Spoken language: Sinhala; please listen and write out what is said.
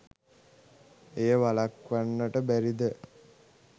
එය වළක්වන්නට බැරිද?